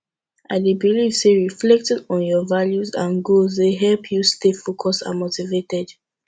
i dey believe say reflecting on your values and goals dey help you stay focused and motivated